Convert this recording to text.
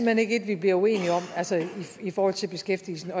hen ikke et vi bliver uenige om altså i forhold til beskæftigelsen